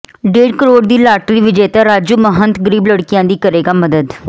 ਡੇਢ ਕਰੋੜ ਦੀ ਲਾਟਰੀ ਵਿਜੇਤਾ ਰਾਜੂ ਮਹੰਤ ਗ਼ਰੀਬ ਲੜਕੀਆਂ ਦੀ ਕਰੇਗਾ ਮਦਦ